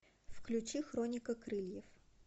включи хроника крыльев